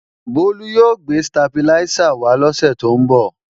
Bólú yóò gbé stabiláísà wá lọ́sè tó ń bọ̀